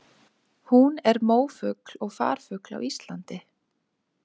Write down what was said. Hún er mófugl og farfugl á Íslandi.